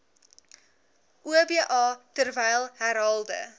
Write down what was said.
oba terwyl herhaalde